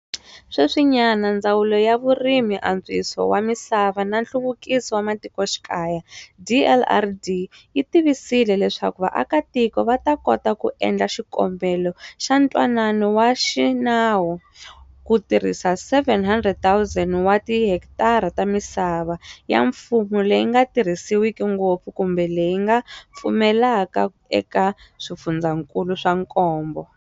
Sweswinyana, Ndzawulo ya Vurimi, Antswiso wa Misava na Nhluvukiso wa Matikoxikaya, DLRD, yi tivisile leswaku vaakitiko va ta kota ku endla xikombelo xa ntwanano wa xinawu ku tirhisa 700 000 wa tihekitara ta misava ya mfumo leyi nga tirhisiwiki ngopfu kumbe leyi nga pfuleka eka swifundzankulu swa nkombo.